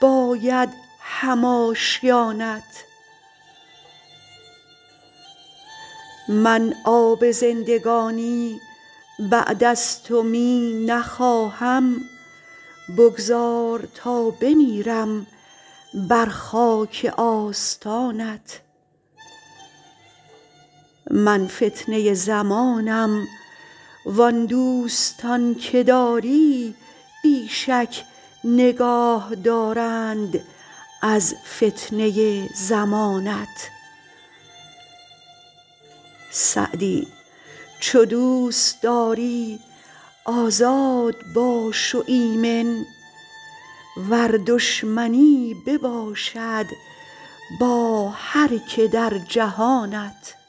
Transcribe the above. باید هم آشیانت من آب زندگانی بعد از تو می نخواهم بگذار تا بمیرم بر خاک آستانت من فتنه زمانم وان دوستان که داری بی شک نگاه دارند از فتنه زمانت سعدی چو دوست داری آزاد باش و ایمن ور دشمنی بباشد با هر که در جهانت